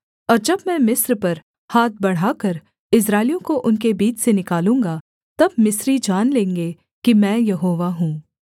और जब मैं मिस्र पर हाथ बढ़ाकर इस्राएलियों को उनके बीच से निकालूँगा तब मिस्री जान लेंगे कि मैं यहोवा हूँ